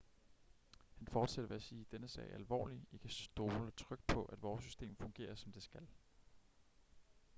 han fortsatte ved at sige denne sag er alvorlig i kan stole trygt på at vores system fungerer som det skal